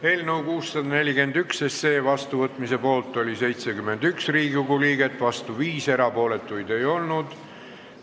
Hääletustulemused Eelnõu 641 seadusena vastuvõtmise poolt oli 71 Riigikogu liiget, vastu 5, erapooletuid ei olnud.